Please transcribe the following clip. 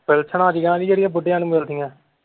pension ਜਿਹੀਆਂ ਨੀ ਜਿਹੜੀ ਬੁੱਢਿਆਂ ਨੂੰ ਮਿਲਦੀਆਂ।